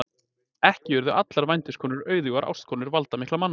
Ekki urðu allar vændiskonur auðugar ástkonur valdamikilla manna.